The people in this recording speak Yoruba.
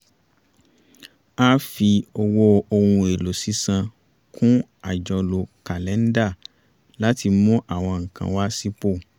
a a fi owó ohun èlò sísan kún àjọlò kàlẹ̀ńdà láti mú àwọn nǹkan wá sípò